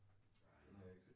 Nej